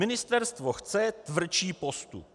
Ministerstvo chce tvrdší postup.